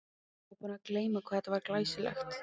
Ég var búinn að gleyma hvað þetta var glæsilegt.